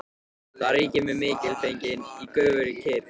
Þar ríkir mikilfengleikinn í göfugri kyrrð.